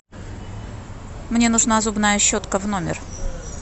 мне нужна зубная щетка в номер